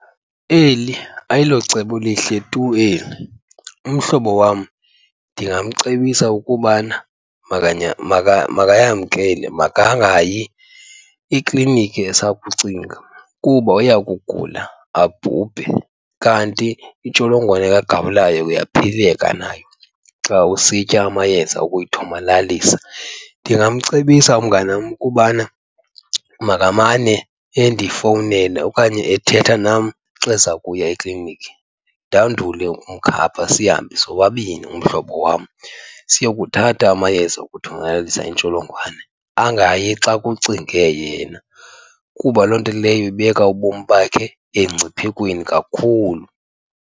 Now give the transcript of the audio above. Eli ayilocebo lihle tu eli. Umhlobo wam ndingamcebisa ukubana makayamkele. Makangayi ekliniki esakucinga kuba uya kugula abhubhe, kanti intsholongwane kagawulayo uyaphileka nayo xa usitya amayeza okuyithomalalisa. Ndingamcebisa umnganam ukubana makamane endifowunela okanye ethetha nam xa eza kuya ekliniki. Ndandule ukumkhapha sihambe sobabini umhlobo wam siyokuthatha amayeza okuthomalalisa intsholongwane. Angayi xa kucinge yena, kuba loo nto leyo ibeka ubomi bakhe emngciphekweni kakhulu.